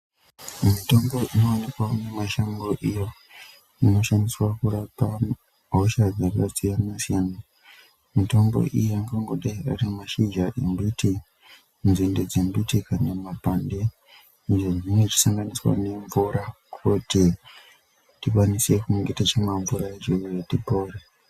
Mitombo inowanikwawo mumashango iyo inoshandiswa kurapa hosha dzakasiyana-siyana, mitombo iyi angangodai Ari mashizha embiti, dzinde dzembiti kana mapande izvozvinenge zvichisanganiswa nemvura kuti tikwanise kunga tichimwa mvura yacho iyoyo kuti tipore.